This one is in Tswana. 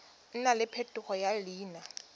nna le phetogo ya leina